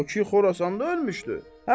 O ki Xorasanda ölmüşdü.